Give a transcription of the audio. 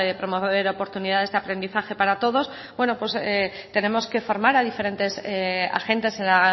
promover oportunidades de aprendizaje para todos bueno pues tenemos que formar a diferentes agentes en la